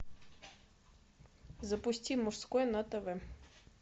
запусти мужской на тв